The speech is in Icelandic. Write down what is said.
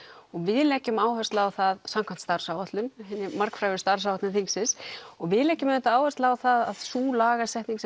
og við leggjum áherslu á það samkvæmt starfsáætlun hinni margfrægu starfsáætlun þingsins og við leggjum áherslu á að sú lagasetning